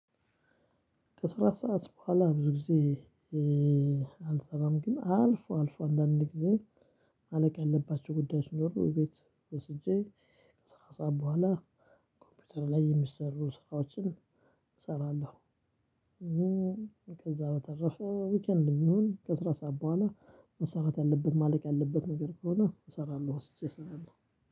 ከስራ ሰዓት በኋላ ብዙ ጊዜ አልሰራም ግን አልፎ አልፎ አንዳንድ ጊዜ ማለቅ ያለባቸው ጉዳዮች ሲኖሩ ቤት ወስጄ ከስራ ሰዓት በኋላ ኮምፒውተር ላይ የሚሰሩ ስራዎችን እሰራለሁ። ከዛ በተረፈ ዊኬንድም ቢሆን ከስራ ሰዓት በኋላ መሰራት ያለበት ማለቅ ያለበት ነገር ከሆነ እሰራለሁ ወስጄ እሰራለሁ።